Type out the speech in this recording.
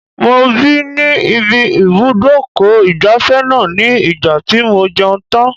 Mo bì ní ibi ibùdó ìgbafẹ́ náà ní ìgbà tí mo jẹun tán.